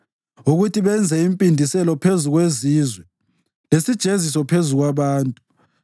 ukuthi benze impindiselo phezu kwezizwe lesijeziso phezu kwabantu,